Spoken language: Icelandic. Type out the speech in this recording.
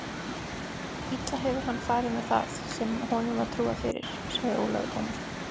Illa hefur hann farið með það sem honum var trúað fyrir, sagði Ólafur Tómasson.